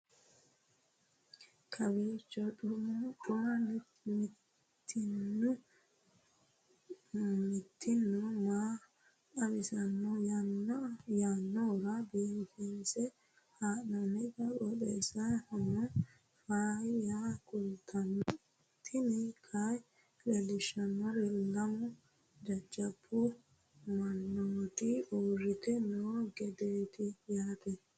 kowiicho xuma mtini maa xawissanno yaannohura biifinse haa'noonniti qooxeessano faayya kultanno tini kayi leellishshannori lamu jajjabu mannoti uurite noo gedeeti yaate